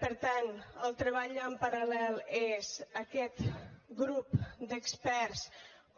per tant el treball en paral·lel és aquest grup d’experts